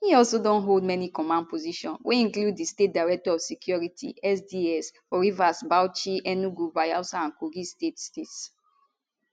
e also don hold many command positions wey include di state director of security sds for rivers bauchi enugu bayelsa and kogi states states